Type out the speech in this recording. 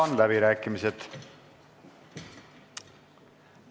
Avan läbirääkimised.